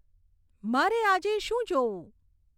મારે આજે શું જોવું